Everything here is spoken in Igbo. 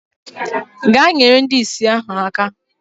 Gaa nyere ndị ìsì ahụ aka!